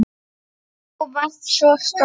Þú varst svo stolt.